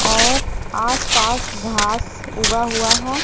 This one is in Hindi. और आस पास घास उगा हुआ है।